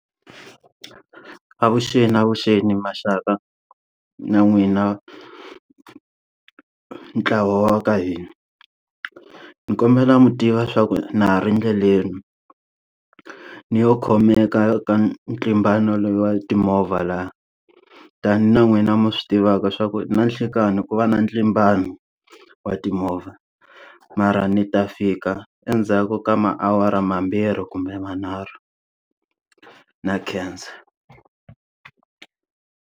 Avuxeni avuxeni maxaka na n'wina ntlawa wa ka hina. Ni kombela mi tiva swa ku na ha ri endleleni. Ni lo khomeka ka ntlimbano lowu wa timovha laha. Tani na n'wina mi swi tivaka swa ku ninhlikani ku va na ntlimbano wa timovha, mara ni ta fika endzhaku ka maawara mambirhi kumbe manharhu. Na khensa.